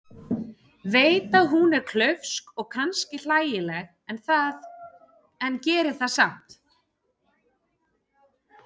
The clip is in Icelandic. Veit að hún er klaufsk og kannski hlægileg en gerir það samt.